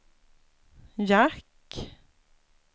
jack